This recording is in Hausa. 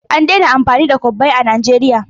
An daina amfani da kwabbai a Najeriya.